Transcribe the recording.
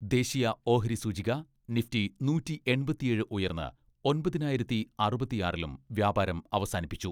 ദേശീയ ഓഹരിസൂചിക നിഫ്റ്റി നൂറ്റി എൺപത്തിയേഴ് ഉയർന്ന് ഒമ്പതിനായിരത്തി അറുപത്തിയാറിലും വ്യാപാരം അവസാനിപ്പിച്ചു.